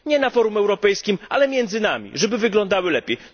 Nie na forum europejskim, ale między nami, żeby wyglądały lepiej.